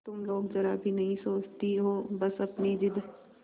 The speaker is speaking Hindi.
तुम लोग जरा भी नहीं सोचती हो बस अपनी जिद